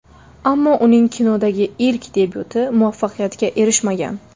Ammo uning kinodagi ilk debyuti muvaffaqiyatga erishmagan.